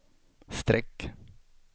streck